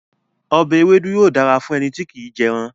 Ọbẹ̀ ewédú yóò dára fún ẹni tí kì í jẹran.